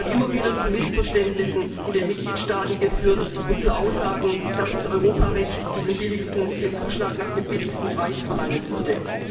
Das hat immer wieder zu Missverständnissen in den Mitgliedstaaten geführt und zu Aussagen, dass das Europarecht den Zuschlag nach dem niedrigsten Preis verlangen würde.